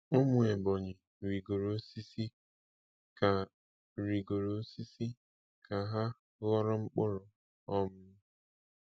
Umu Ebonyi rigoro osisi ka rigoro osisi ka ha ghọrọ mkpuru. um